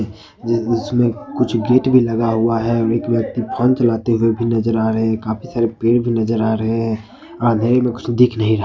इस दृश्य में कुछ गेट भी लगा हुआ है और एक व्यक्ति फोन चलाते हुए भी नजर आ रहे हैं काफी सारे पेड़ भी नजर आ रहे हैं अंधेरे में कुछ दिख नहीं रहा--